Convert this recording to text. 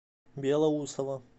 белоусово